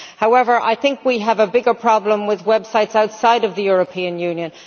However, I think we have a bigger problem with websites outside the European Union.